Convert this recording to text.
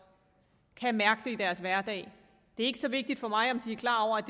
kan mærke det i deres hverdag det er ikke så vigtigt for mig om de er klar over at